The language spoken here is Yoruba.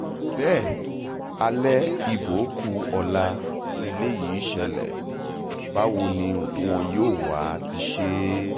bẹ́ẹ̀ alẹ́ ibo kù ọ̀la lélẹ́yìí ṣẹlẹ̀ báwo ni wọn yóò wáá ti ṣe é